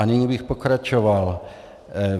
A nyní bych pokračoval.